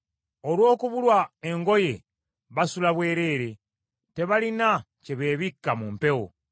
Olw’okubulwa engoye, basula bwereere; tebalina kye beebikka mu mpewo.